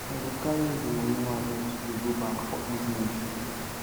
i go carry all di moni wey i make today go bank for evening